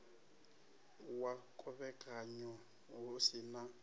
wa khovhekanyo hu si na